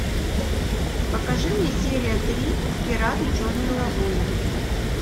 покажи мне серия три пираты черной лагуны